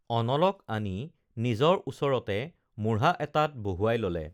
unlock আনি নিজৰ ওচৰতে মূঢ়া এটাত বহুৱাই ললে